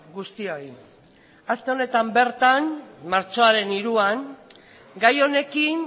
guztioi aste honetan bertan martxoaren hiruan gai honekin